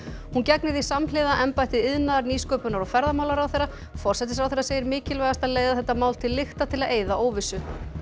hún gegnir því samhliða embætti iðnaðar nýsköpunar og ferðamálaráðherra forsætisráðherra segir mikilvægast að leiða þetta mál til lykta til að eyða óvissu